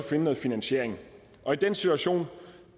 finde noget finansiering og i den situation